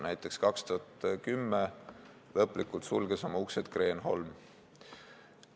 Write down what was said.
Näiteks sulges 2010 lõplikult oma uksed Kreenholm.